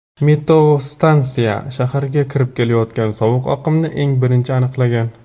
Meteostansiya shaharga kirib kelayotgan sovuq oqimni eng birinchi aniqlagan.